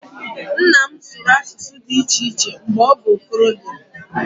Nna m sụrụ asụsụ dị iche iche mgbe ọ bụ okorobịa